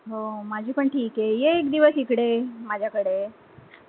हो, माझी पण ठिक आहे, ये एक दिवस इकडे माझ्या कडे